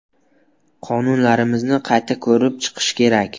Qonunlarimizni qayta ko‘rib chiqish kerak.